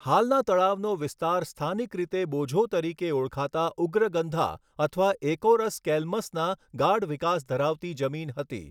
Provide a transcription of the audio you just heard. હાલના તળાવનો વિસ્તાર સ્થાનિક રીતે બોઝો તરીકે ઓળખાતા ઉગ્રગંધા અથવા એકોરસ કેલ્મસના ગાઢ વિકાસ ધરાવતી જમીન હતી.